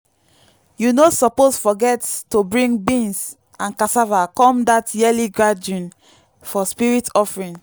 you no suppose forget to bring beans and cassava come that yearly gathering for spirit offering.